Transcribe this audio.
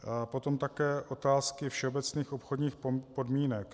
Potom také otázky všeobecných obchodních podmínek.